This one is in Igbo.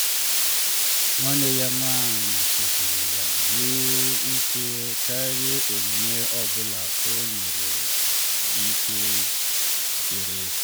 nwanne ya nwanyị kpochiri ya n’ihu nke karịrị onyinye ọ bụla o nwere ike iweta.